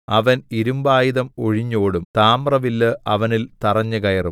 അവൻ ഇരുമ്പായുധം ഒഴിഞ്ഞോടും താമ്ര വില്ല് അവനിൽ തറഞ്ഞുകയറും